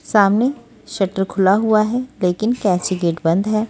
सामने शटर खुला हुआ हैलेकिन कैसी गेट बंद है।